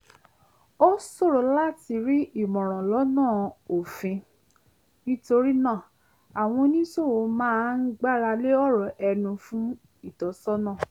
ó ṣòro láti rí ìmọ̀ràn lọ́nà òfin nítorí náà àwọn oníṣòwò máa ń gbáralé ọ̀rọ̀ ẹnu fún ìtọ́sọ́nà